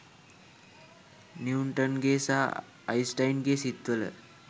නිවුටන්ගේ සහ අයින්ස්ටයින්ගේ සිත් වල